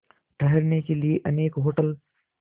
ठहरने के लिए अनेक होटल